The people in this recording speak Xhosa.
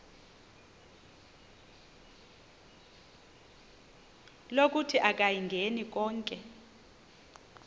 lokuthi akayingeni konke